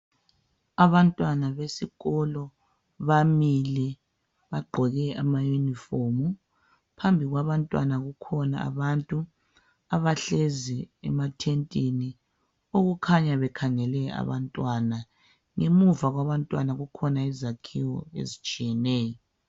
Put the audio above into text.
Abantwana besikolo bamile bagqoke ama uniform. Phambi kwabantwana kukhona abantu abahlezi emathentini . Okukhanya bekhangele abantwana. Ngemuva kwabantwana kukhona izakhiwo ezitshiyeneyo.